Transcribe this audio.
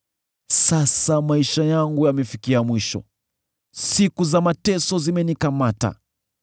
“Sasa maisha yangu yamefikia mwisho; siku za mateso zimenikamata.